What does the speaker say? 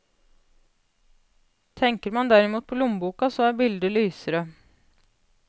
Tenker man derimot på lommeboka så er bildet lysere.